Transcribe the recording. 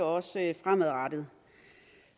også fremadrettet